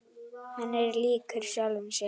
Hann er líkur sjálfum sér.